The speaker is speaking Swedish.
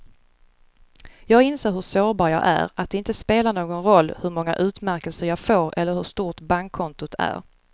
Jag inser hur sårbar jag är, att det inte spelar någon roll hur många utmärkelser jag får eller hur stort bankkontot är.